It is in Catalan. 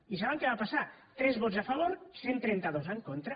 i saben què va passar tres vots a favor cent i trenta dos en contra